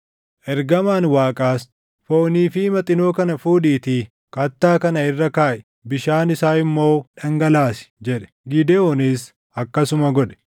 Ergamaan Waaqaas, “Foonii fi Maxinoo kana fuudhiitii kattaa kana irra kaaʼi; bishaan isaa immoo dhangalaasi” jedhe. Gidewoonis akkasuma godhe.